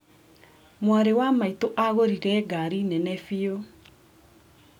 Mwarĩ wa maĩtũ agũrire ngari nene bĩu.